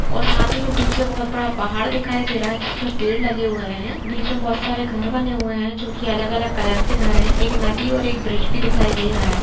और साथ ही में पीछे बहुत बड़ा पहाड़ दिखाई दे रहा है जिसमें पेड़ लगे हुए हैं बीच में बहुत सारे घर बने हुए हैं जो की अलग-अलग कलर के घर हैं एक नदी और एक ब्रिज भी दिखाई दे रहा है ।